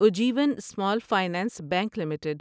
Ujjivan Small Finance Bank limited